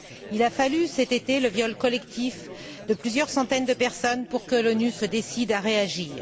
Il a fallu, cet été, le viol collectif de plusieurs centaines de personnes pour que l'ONU se décide à réagir.